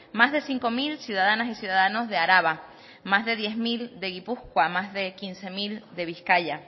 más de cinco mil ciudadanas y ciudadanos de araba más de diez mil de gipuzkoa más de quince mil de bizkaia